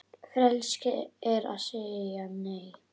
Frelsi er að segja Nei!